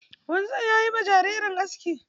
Wanzam ya yi ma jariri aski.